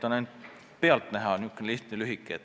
See on ainult pealtnäha lihtne ja lühike.